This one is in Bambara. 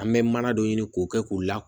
An bɛ mana dɔ ɲini k'o kɛ k'u la